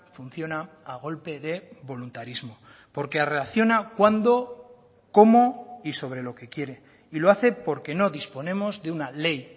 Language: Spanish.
funciona a golpe de voluntarismo porque reacciona cuándo cómo y sobre lo que quiere y lo hace porque no disponemos de una ley